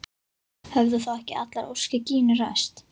Höfðu þá ekki allar óskir Gínu ræst?